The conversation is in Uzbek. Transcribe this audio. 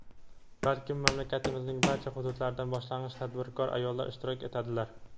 balki mamlakatimizning barcha hududlaridan boshlang‘ich tadbirkor ayollar ishtirok etadilar.